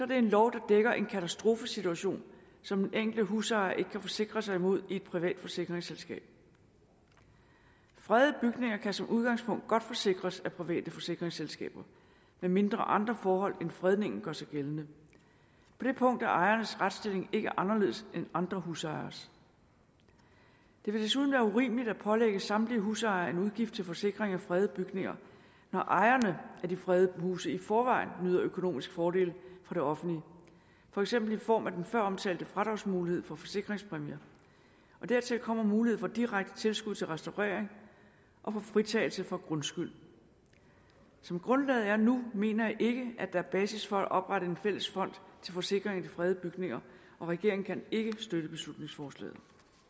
det en lov der dækker en katastrofesituation som den enkelte husejer ikke kan forsikre sig imod i et privat forsikringsselskab fredede bygninger kan som udgangspunkt godt forsikres af private forsikringsselskaber medmindre andre forhold end fredningen gør sig gældende på det punkt er ejernes retsstilling ikke anderledes end andre husejeres det vil desuden være urimeligt at pålægge samtlige husejere en udgift til forsikring af fredede bygninger når ejerne af de fredede huse i forvejen nyder økonomisk fordel fra det offentlige for eksempel i form af den før omtalte fradragsmulighed for forsikringspræmier dertil kommer mulighed for direkte tilskud til restaurering og for fritagelse for grundskyld som grundlaget er nu mener jeg ikke at der er basis for at oprette en fælles fond til forsikring af de fredede bygninger og regeringen kan ikke støtte beslutningsforslaget